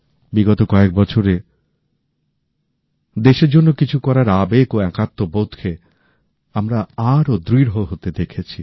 বিগত কয়েক বছরে দেশের জন্য কিছু করার আবেগ ও একাত্মবোধকে আমরা আরও দৃঢ় হতে দেখেছি